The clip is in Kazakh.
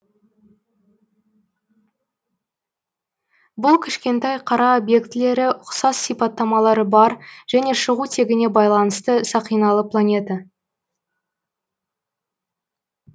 бұл кішкентай қара объектілері ұқсас сипаттамалары бар және шығу тегіне байланысты сақиналы планета